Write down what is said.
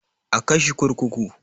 A kai shi kurkuku.